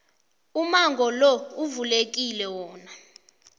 umango lo uvulekile wona